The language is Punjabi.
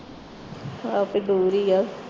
ਇਹ ਤੇ ਦੂਰ ਹੀ ਹੈ